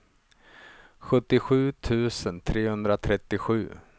sjuttiosju tusen trehundratrettiosju